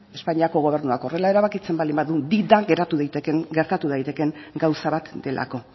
espainiako gobernuak horrela erabakitzen baldin bada gertatu daitekeen gauza bat delako